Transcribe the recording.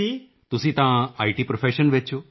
ਤੁਸੀਂ ਤਾਂ ਇਤ ਪ੍ਰੋਫੈਸ਼ਨ ਵਿੱਚ ਹੋ